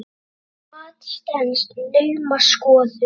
Það mat stenst naumast skoðun.